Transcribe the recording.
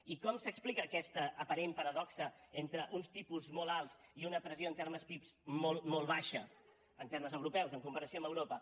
i com s’explica aquesta aparent paradoxa entre uns tipus molt alts i una pressió en termes pib molt molt baixa en termes europeus en comparació amb europa